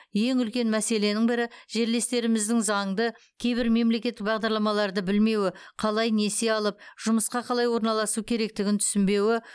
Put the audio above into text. ең үлкен мәселенің бірі жерлестеріміздің заңды кейбір мемлекеттік бағдарламаларды білмеуі қалай несие алып жұмысқа қалай орналасу керектігін түсінбеуі